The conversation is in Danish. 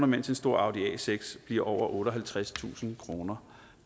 mens en stor audi a6 bliver over otteoghalvtredstusind kroner